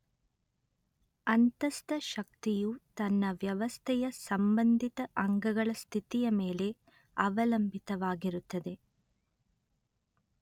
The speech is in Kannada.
ಅಂತಸ್ಥ ಶಕ್ತಿಯು ತನ್ನ ವ್ಯವಸ್ಥೆಯ ಸಂಬಂಧಿತ ಅಂಗಗಳ ಸ್ಥಿತಿಯ ಮೇಲೆ ಅವಲಂಬಿತವಾಗಿರುತ್ತದೆ